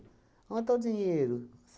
Onde está o dinheiro?